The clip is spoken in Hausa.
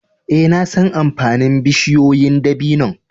Eh, na san amfanin bushiyoyin dabino'n.